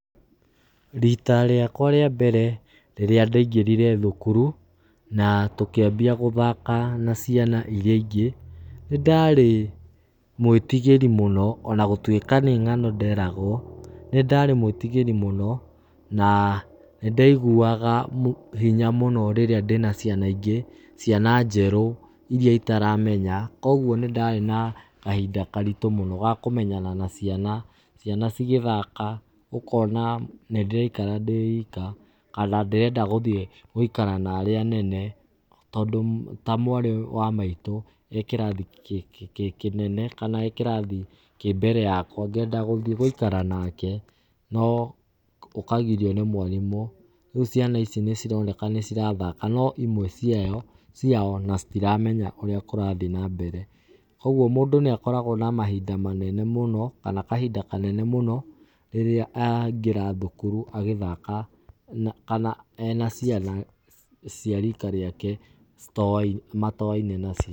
Rita rĩakwa rĩa mbere rĩrĩa ndaingĩrire thukuru na tũkĩambia gũthaka na ciana irĩa ingĩ, nĩ ndarĩ mwĩtĩgĩri mũno ona gũtuĩka nĩ ngano nderagwo. Nĩ ndarĩ mwĩtigĩri mũno na nĩ ndaĩgũaga hinya mũno rĩrĩa ndĩ na ciana ingĩ, ciana njerũ irĩa itaramenya. Kogwo nĩ ndarĩ na kahinda karitũ mũno ga kũmenyana na ciana. Ciana ci gĩthaka ũkona nĩ ndĩraikara ndĩ ika, kana ndĩrenda gũthiĩ gũikara na arĩa anene tondũ ta mwarĩ wa maĩtũ,e kĩrathi kinene kana e kĩrathi kĩ mbere yakwa ngenda gũthĩĩ gũikara nake no ũkagĩrio nĩ mwarimũ. Reũ ciana ici ni cironeka nĩ cirathaka no ĩmwe ciao ona citiramenya ũríĩ kũrathiĩ na mbere. Kogwo mũndũ nĩ akoragwo na mahinda manene mũno kana kahinda kanene mũno rĩrĩa aingĩra thukuru agĩthaka kana ena ciana cia rika rĩake matoa-ine nacio.